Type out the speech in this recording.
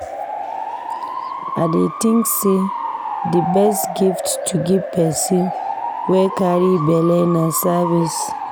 I think sey di best gift to give pesin wey carry belle na service.